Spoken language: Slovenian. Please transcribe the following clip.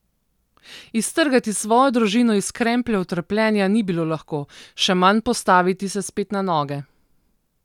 Iztrgati svojo družino iz krempljev trpljenja ni bilo lahko, še manj postaviti se spet na noge.